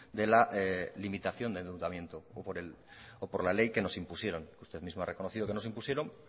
de la limitación del o por la ley que nos impusieron usted mismo ha reconocido que nos impusieron